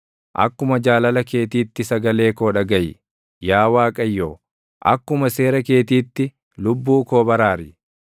Akkuma jaalala keetiitti sagalee koo dhagaʼi; Yaa Waaqayyo, akkuma seera keetiitti lubbuu koo baraari.